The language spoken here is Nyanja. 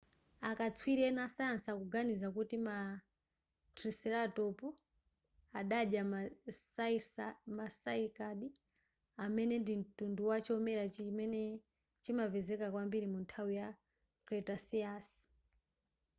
akatswiri ena asayansi akuganiza kuti ma triceratop adadya ma cycad amene ndi mtundu wachomera chimene chimapezeka kwambiri munthawi yama cretaceous